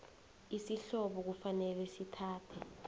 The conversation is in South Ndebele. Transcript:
isihlobo kufanele sithathe